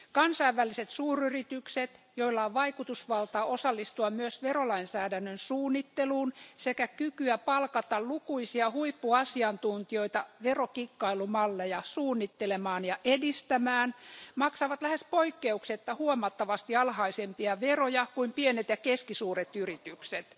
Kansainväliset suuryritykset, joilla on vaikutusvaltaa osallistua myös verolainsäädännön suunnitteluun sekä kykyä palkata lukuisia huippuasiantuntijoita verokikkailun malleja suunnittelemaan ja edistämään, maksavat lähes poikkeuksetta huomattavasti alhaisempia veroja kuin pienet ja keskisuuret yritykset.